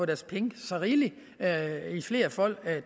deres penge så rigeligt flerfold